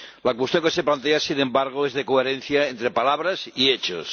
La cuestión que se plantea, sin embargo, es de coherencia entre palabras y hechos.